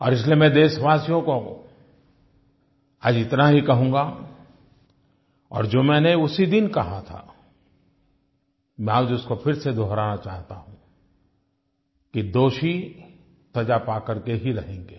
और इसलिए मैं देशवासियों को आज इतना ही कहूँगा और जो मैंने उसी दिन कहा था मैं आज उसको फिर से दोहराना चाहता हूँ कि दोषी सज़ा पा करके ही रहेंगे